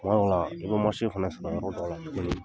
Kuma dɔ la, i bɛ fana sɔrɔ yɔrɔ dɔ la, kelen